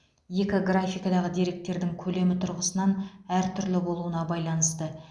екі графикадағы деректердің көлемі тұрғысынан әртүрлі болуына байланысты